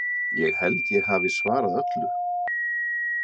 Ég held ég hafi svarað öllu?